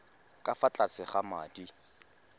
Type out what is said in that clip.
ka fa tlase ga madi